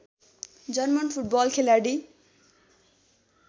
German football खेलाडी